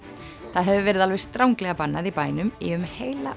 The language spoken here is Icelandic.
það hefur verið alveg stranglega bannað í bænum í um heila